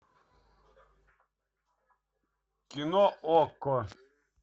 кино окко